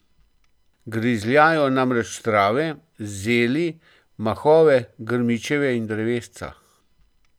Grizljajo namreč trave, zeli, mahove, grmičevje in drevesca.